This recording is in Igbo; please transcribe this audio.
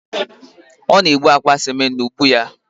Ọ na-ebu akpa ciment n'ubu ya